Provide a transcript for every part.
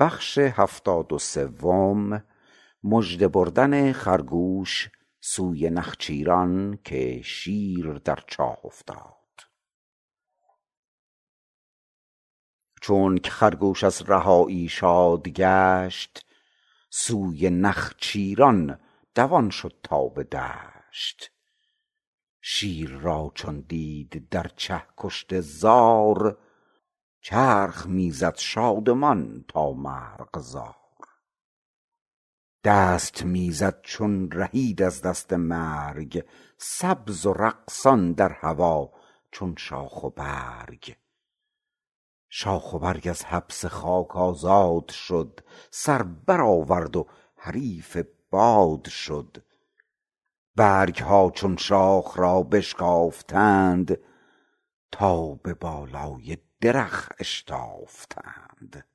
چونک خرگوش از رهایی شاد گشت سوی نخچیران دوان شد تا به دشت شیر را چون دید در چه کشته زار چرخ می زد شادمان تا مرغزار دست می زد چون رهید از دست مرگ سبز و رقصان در هوا چون شاخ و برگ شاخ و برگ از حبس خاک آزاد شد سر برآورد و حریف باد شد برگها چون شاخ را بشکافتند تا به بالای درخت اشتافتند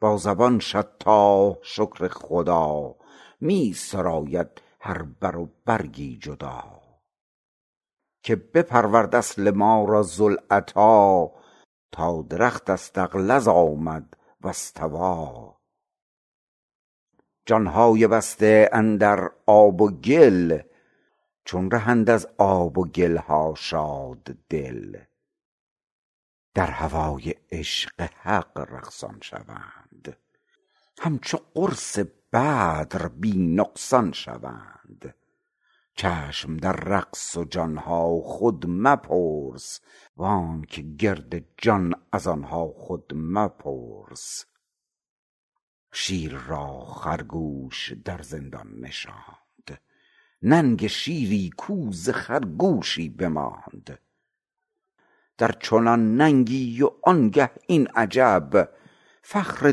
با زبان شطاح شکر خدا می سراید هر بر و برگی جدا که بپرورد اصل ما را ذوالعطا تا درخت فاستغلظ آمد فاستوی جانهای بسته اندر آب و گل چون رهند از آب و گلها شاددل در هوای عشق حق رقصان شوند همچو قرص بدر بی نقصان شوند جسمشان در رقص و جانها خود مپرس وانک گرد جان از آنها خود مپرس شیر را خرگوش در زندان نشاند ننگ شیری کو ز خرگوشی بماند درچنان ننگی و آنگه این عجب فخر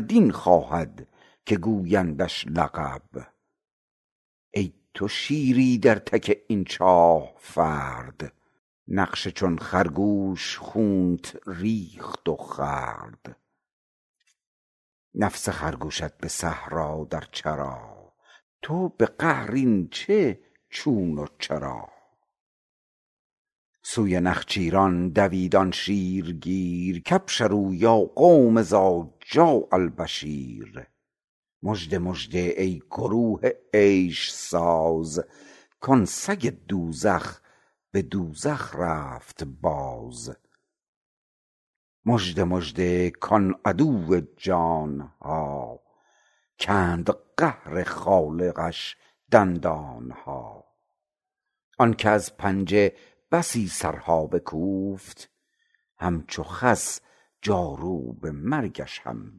دین خواهد که گویندش لقب ای تو شیری در تک این چاه فرد نفس چون خرگوش خونت ریخت و خورد نفس خرگوشت به صحرا در چرا تو به قعر این چه چون و چرا سوی نخچیران دوید آن شیرگیر کأبشروا یا قوم إذ جاء البشیر مژده مژده ای گروه عیش ساز کان سگ دوزخ به دوزخ رفت باز مژده مژده کان عدو جانها کند قهر خالقش دندانها آنک از پنجه بسی سرها بکوفت همچو خس جاروب مرگش هم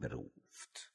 بروفت